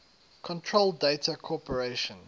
control data corporation